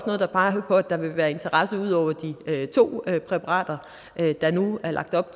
noget der peger på at der vil være en interesse ud over de to præparater der nu er lagt op